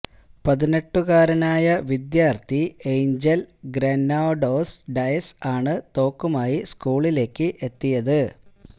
പതിനെട്ടുകാരനായ വിദ്യാർഥി Angel Granados Diaz ആണ് തോക്കുമായി സ്കൂളിലേക്ക് എത്തിയത്